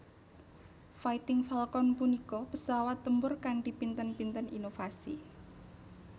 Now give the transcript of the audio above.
Fighting Falcon punika pesawat tempur kanthi pinten pinten inovasi